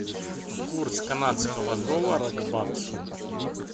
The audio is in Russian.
курс канадского доллара к баксу